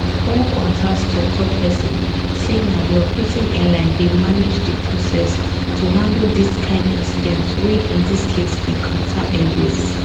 one qantas toktok pesin say na di operating airline dey manage di process to handle dis kain incidents wey in dis case be qatar airways